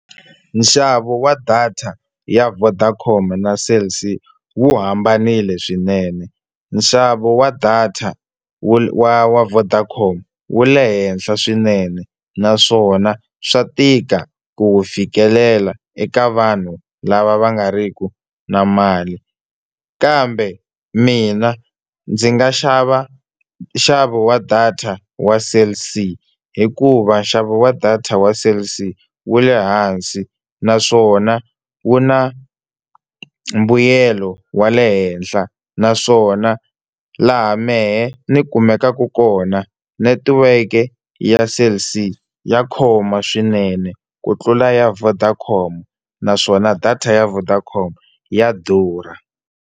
Nxavo wa data ya Vodacom na Cell C wu hambanile swinene. Nxavo wa data wa wa Vodacom wu le henhla swinene naswona swa tika ku wu fikelela eka vanhu lava va nga riki na mali. Kambe mina ndzi nga xava nxavo wa data wa Cell C hikuva nxavo wa data wa Cell C wu le hansi naswona wu na mbuyelo wa le henhla, naswona laha mehe ni kumekaka kona netiweke ya Cell C ya khoma swinene ku tlula ya Vodacom naswona data ya Vodacom ya durha.